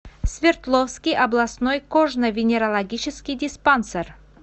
свердловский областной кожно венерологический диспансер